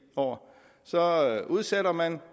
år så udsætter man